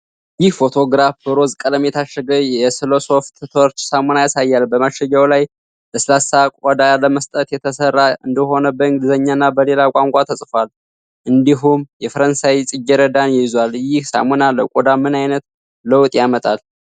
ይህ ፎቶግራፍ በሮዝ ቀለም የታሸገ የ ለሰ "Soft Touch" ሳሙና ያሳያል። በማሸጊያው ላይ ለስላሳ ቆዳ ለመስጠት የተሰራ እንደሆነ በእንግሊዝኛና በሌላ ቋንቋ ተጽፏል፤ እንዲሁም የፈረንሳይ ጽጌረዳን ይዟል። ይህ ሳሙና ለቆዳ ምን አይነት ለውጥ ያመጣል?